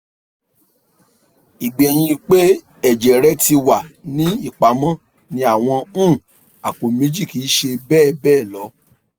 igbẹhin pe ẹjẹ rẹ ti wa ni ipamọ ni awọn um apo meji kii ṣe bẹbẹ lọ